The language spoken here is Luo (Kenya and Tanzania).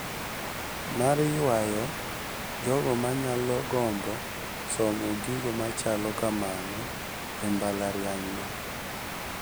Mar yuayo jogo manyalo gombo somo gigo machalo kamano e mbalarianyno.